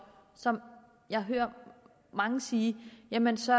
som jeg hører mange sige jamen så